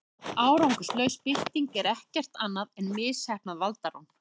árangurslaus bylting er ekkert annað en misheppnað valdarán